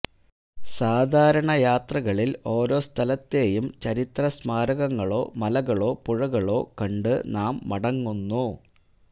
സാധാരണയാത്രകളിൽ ഓരോ സ്ഥലത്തെയും ചരിത്രസ്മാരകങ്ങളോ മലകളോ പുഴകളോ കണ്ടു നാം മടങ്ങുന്നു